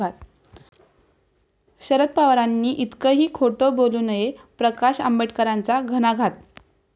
शरद पवारांनी इतकंही खोटं बोलू नये, प्रकाश आंबेडकरांचा घणाघात